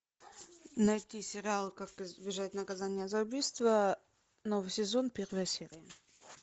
найти сериал как избежать наказания за убийство новый сезон первая серия